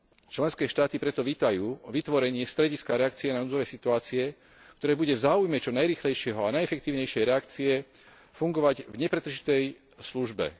Členské štáty preto vítajú vytvorenie strediska reakcie na núdzové situácie, ktoré bude v záujme čo najrýchlejšej a najefektívnejšej reakcie fungovať v nepretržitej službe.